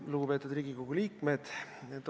Lugupeetud Riigikogu liikmed!